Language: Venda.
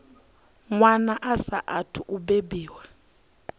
wana a saathu u bebiwaho